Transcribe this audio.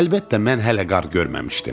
Əlbəttə, mən hələ qar görməmişdim.